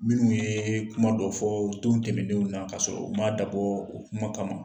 Minnu ye kuma dɔ fɔ don tɛmɛnenw na kasɔrɔ u m'a dabɔ o kuma kama